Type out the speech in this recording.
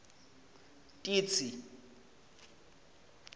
titsi